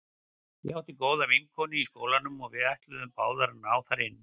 Ég átti góða vinkonu í skólanum og við ætluðum báðar að ná þar inn.